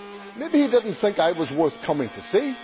Maybe he did not think I was worth coming to see